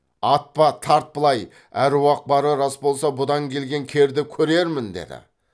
атпа тарт былай аруақ бары рас болса бұдан келген керді көрермін деді